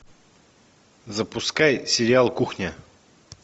запускай сериал кухня